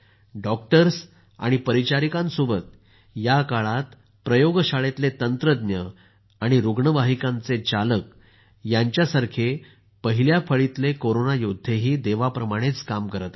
doctors आणि परिचारिकांसोबतच या काळात प्रयोगशाळेतले तंत्रज्ञ आणि रुग्णवाहिकांचे चालक यांच्यासारखे पहिल्या फळीतले कोरोना योद्धे ही देवाप्रमाणेच काम करत आहेत